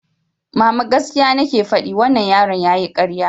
Mama, gaskiya nake faɗi, wannan yaron yayi ƙarya.